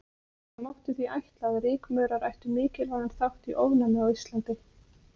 Það mátti því ætla að rykmaurar ættu mikilvægan þátt í ofnæmi á Íslandi.